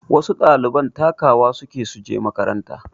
Wasu ɗaliban takawa suke suje makaranta